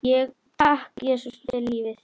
Og takk, Jesús, fyrir lífið.